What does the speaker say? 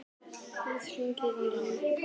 Gaui, hringdu í Laufhildi.